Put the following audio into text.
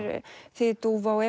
þýðir dúfa og